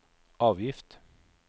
avgift